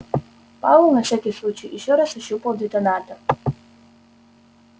пауэлл на всякий случай ещё раз ощупал детонатор